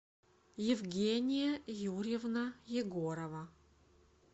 евгения юрьевна егорова